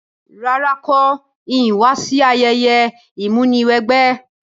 Rárá, n ko ni wa si ayẹyẹ ìmúniwẹgbẹ́